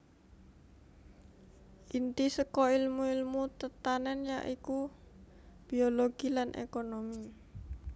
Inti saka èlmu èlmu tetanèn ya iku biologi lan ékonomi